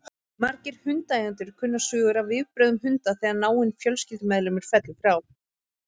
Margir hundaeigendur kunna sögur af viðbrögðum hunda þegar náinn fjölskyldumeðlimur fellur frá.